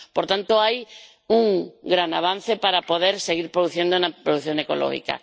Por tanto, hay un gran avance para poder seguir produciendo en producción ecológica.